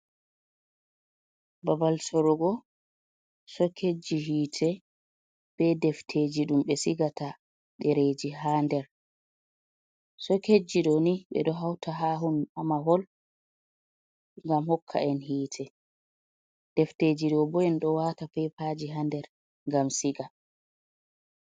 Ɓabal sorugo soket ji hite be defteji ɗum be sigata dereji ha nder, soket ji ɗo ni ɓe ɗo hauta ha mahol ngam hokka en hite defteji ɗo bo en ɗo wata peipaji ha nder ngam siga.